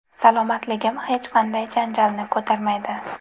Salomatligim hech qanday janjalni ko‘tarmaydi.